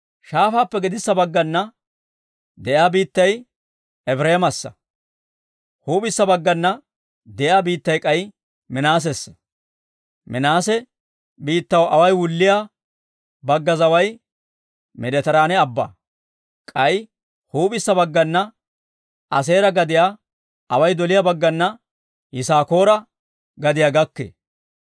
Shaafaappe gedissa baggana de'iyaa biittay Efireemassa; huup'issa baggana de'iyaa biittay k'ay Minaasessa. Minaase biittaw away wulliyaa bagga zaway Meeditiraane Abbaa. K'ay huup'issa baggana Aaseera gadiyaa, away doliyaa baggana Yisaakoora gadiyaa gakkee.